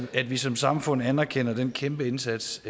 at vi som samfund anerkender den kæmpe indsats